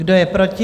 Kdo je proti?